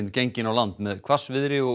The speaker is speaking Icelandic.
gengin á land með hvassviðri og